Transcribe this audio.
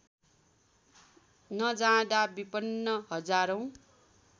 नजाँदा विपन्न हजारौँ